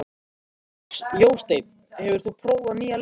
Jósteinn, hefur þú prófað nýja leikinn?